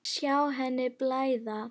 Sjá henni blæða.